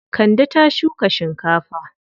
Kande ta shuka shinkafa.